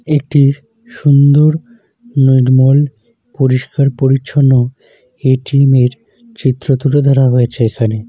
একটি সুন্দর নির্মল পরিষ্কার-পরিচ্ছন্ন এ.টি.এম. -এর চিত্র তুলে ধরা হয়েছে এখানে।